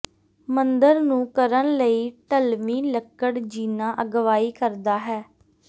ਮੰਦਰ ਨੂੰ ਕਰਨ ਲਈ ਢਲਵੀ ਲੱਕੜ ਜੀਨਾ ਅਗਵਾਈ ਕਰਦਾ ਹੈ